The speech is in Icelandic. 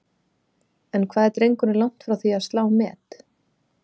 En hvað er drengurinn langt frá því að slá met?